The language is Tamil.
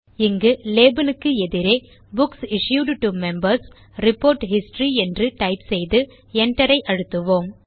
இங்கு லேபல் க்கு எதிரே books issued to Members report history என டைப் செய்து Enter ஐ அழுத்துவோம்